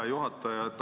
Hea juhataja!